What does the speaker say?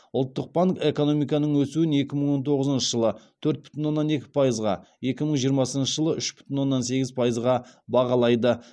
ұлттық банк экономиканың өсуін екі мың он тоғызыншы жылы төрт бүтін оннан екі пайызға екі мың жиырмасыншы жылы үш бүтін оннан сегіз пайызға бағалайды